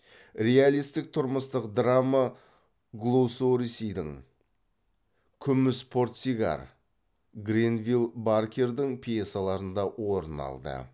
реалистік тұрмыстық драма голсуорсидің гренвилл баркердің пьесаларында орын алды